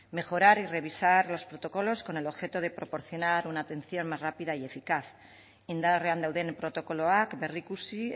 mejorar y revisar los protocolos con el objeto de proporcionar una atención más rápida y eficaz indarrean dauden protokoloak berrikusi